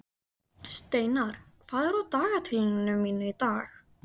Steinar, hvað er á dagatalinu mínu í dag?